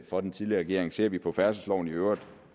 for den tidligere regering ser vi på færdselsloven i øvrigt